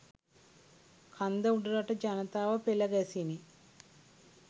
කන්ද උඩරට ජනතාව පෙළ ගැසිණි